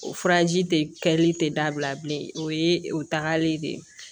O furaji tɛ kɛli tɛ dabila bilen o ye o tagalen ye de